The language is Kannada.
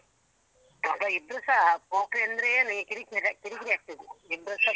ಮಕ್ಳ ಇಬ್ರುಸಾ ಪೊಕ್ರಿ ಅಂದ್ರೆನು ಈ ಕಿರಿಕಿರಿ ಕಿರಿಕಿರಿ ಆಗ್ತದೆ ಇಬ್ಬ್ರುಸಾ.